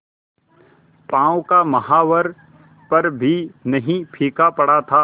पांव का महावर पर भी नहीं फीका पड़ा था